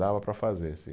Dava para fazer, sim.